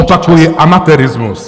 Opakuji, amatérismus.